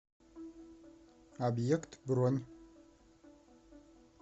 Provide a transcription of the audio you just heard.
объект бронь